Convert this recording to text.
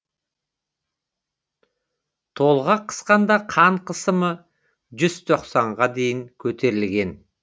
толғақ қысқанда қан қысымы жүз тоқсанға дейін көтерілген